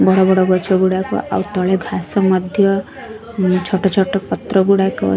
ବଡ ବଡ ଗଛ ଗୁଡାକ ଆଉ ତଳେ ଘାସ ମଧ୍ଯ ଛୋଟ ଛୋଟ ପତ୍ର ଗୁଡାକ --